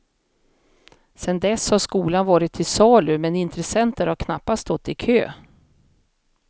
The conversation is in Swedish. Sedan dess har skolan varit till salu, men intressenter har knappast stått i kö.